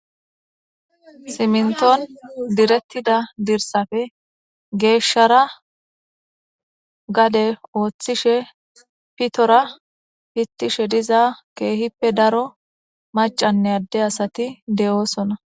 Siminton direttida dirsafe geeshshara gade ooththishe pitora hittishe diza keehippe daro macanne adde asati de'oosona.